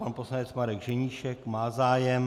Pan poslanec Marek Ženíšek má zájem.